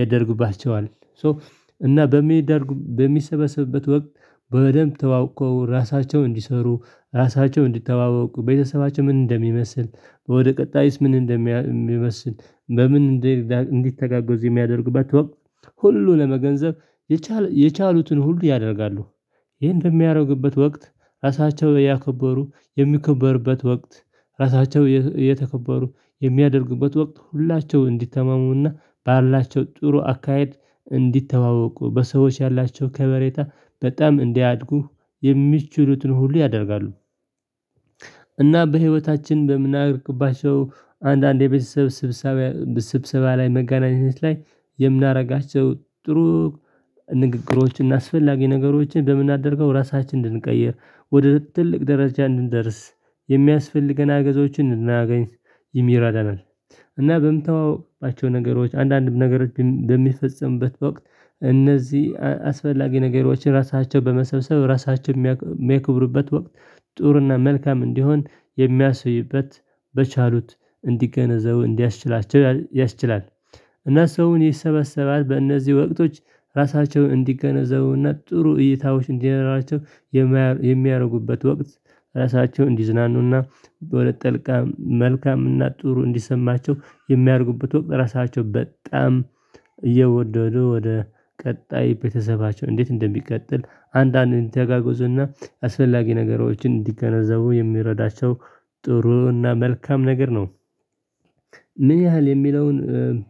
ያደርግባቸዋል ሶ እና በሚደረጉ በሚሰበሰብበት ወቅት በደንብ ተዋውቀው ራሳቸውን እንዲሰሩ ራሳቸውን እንዲተዋወቁ ቤተሰባቸው ምን እንደሚመስል ወደ ቀጣይስ ምን እንደሚመስል በምን እንዲተጋገዙ የሚያደርግበት ወቅት ሁሉ ለመገንዘብ የቻሉትን ሁሉ ያደርጋሉ። ይሄ በሚያደርግበት ወቅት እራሳቸው ያከበሩ የሚከበርበት ወቅት እራሳቸው የተከበሩ የሚያደርጉበት ወቅት ሁላቸው እንዲተማመኑ ባላቸው ጥሩ አካሄድ እንዲተዋወቁ በሰዎች ያላቸው ከበሬታ በጣም እንዲያድጉ የሚችሉትን ሁሉ ያደርጋሉ። እና በህይወታችን በምናደርጋቸው አንዳንድ የቤተሰብ ስብሰባ ላይ መጋናኘት ላይ የምናደርጋቸው ጥሩ ንግግሮችን አስፈላጊ ነገሮችን በምናደርገው ራሳችንን እንድንቀይር ወደ ትልቅ ደረጃ እንድንደርስ የሚያስፈልገን እገዞወችን እንድናገኝ ይረዳናል። እና በምንተዋወቅባቸው ነገሮች አንዳንድም ነገር በሚፈጸምበት ወቅት እነዚህ አስፈላጊ ነገሮችን ራሳቸው በመሰብሰብ ራሳቸው የሚያክብሩበት ወቅት ጥሩና መልካም እንዲሆን የሚያሳዩበት በቻሉት እንዲገነዘቡ እንዲያስችላቸው ያስችላል። እና ሰውን ይሰበሰባል በእነዚህ ወቅቶች ራሳቸውን እንዲገነዘቡና ጥሩ እይታዎች እንዲኖራቸው የሚያደርጉበት ወቅት ራሳቸውን እንዲዝናኑና በሁለት መልቃም መልካምና ጥሩ እንዲሰማቸው የሚያደርጉበት ወቅት ራሳቸው በጣም እየወደዱ ወደ ቀጣይ ቤተሰባቸው እንዴት እንደሚቀጥል አንዳንድ ተጋግዞና አስፈላጊ ነገሮችን እንዲገነዘቡ የሚረዳቸው ጥሩና መልካም ነገር ነው። ምን ያህል የሚለውን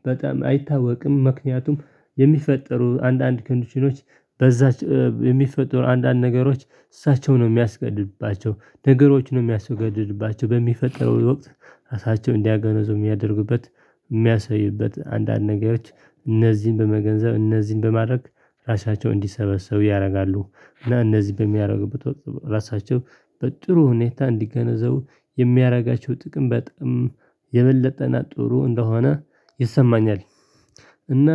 በጣም አይታወቅም ምክንያቱም የሚፈጠሩ አንዳንድ ኮንዲሽኖች በዛች የሚፈጠሩ አንዳንድ ነገሮች እሳቸው ነው የሚያስገድድባቸው ነገሮች ነው የሚያስገድድባቸው በሚፈጠረው ወቅት እሳቸው እንዲገነዘቡ የሚያደርጉበት የሚያሳዩበት አንዳንድ ነገሮች እነዚህን በመገንዘብ እነዚህን በማድረግ ራሳቸውን እንዲሰበሰቡ ያደርጋሉ እና እነዚህን በሚያደርጉበት ወቅት ራሳቸው በጥሩ ሁኔታ እንዲገነዘቡ የሚያደርጋቸው ጥቅም በጥቅም የበለጠና ጥሩ እንደሆነ ይሰማኛል። እና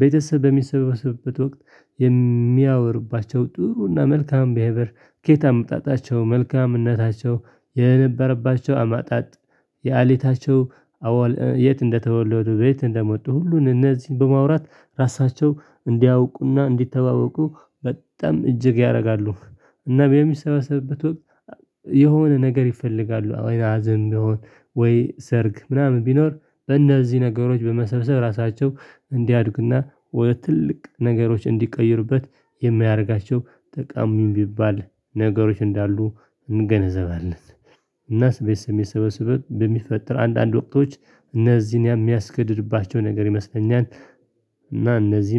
ቤተሰብ በሚሰበሰብበት ወቅት የሚያወሩባቸው ጥሩና መልካም ቢሄቢሂር ከየት አምጣጣቸው መልካም እነታቸው የነበረባቸው አመጣጥ የእለታቸው የት እንደተወለዱ በየት እንደሞቱ ሁሉን እነዚህን በማውራት ራሳቸው እንዲያውቁና እንዲተዋወቁ በጣም እጅግ ያደርጋሉ። እና በሚሰበሰበት ወቅት የሆነ ነገር ይፈልጋሉ ወይ ሀዘን ቢሆን ወይ ሰርግ ምናምን ቢኖር በእነዚህ ነገሮች በመሰብሰብ ራሳቸው እንዲያድጉና ወደ ትልቅ ነገሮች እንዲቀይሩበት የሚያደርጋቸው ጠቃሚ የሚባል ነገሮች እንዳሉ እንገነዘባለን። እናስ ቤተሰብ በሚሰበሰብበት በሚፈጥር አንዳንድ ወቅቶች እነዚህን የሚያስገድድባቸው ነገር ይመስለኛል እና እነዚህ